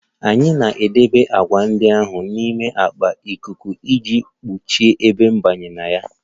Anyị na-edebe agwa ndị ahụ n'ime akpa ikuku iji gbochie ebe ịbanye na ya